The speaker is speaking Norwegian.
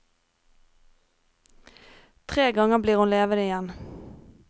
Tre ganger blir hun levende igjen.